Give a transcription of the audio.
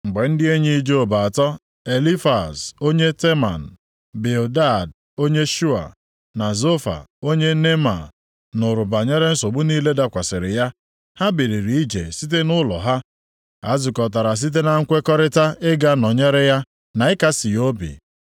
Mgbe ndị enyi Job atọ, Elifaz + 2:11 Ọ bụ onye si nʼagbụrụ Edọm, nʼobodo Teman. onye Teman, Bildad onye Shua na Zofa onye Neama, nụrụ banyere nsogbu niile dakwasịrị ya, ha biliri ije site nʼụlọ ha, ha zukọtara site na nkwekọrịta ịga nọnyere ya na ịkasị ya obi.